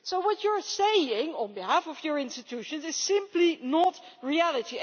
So what you are saying, on behalf of your institutions, is simply not reality.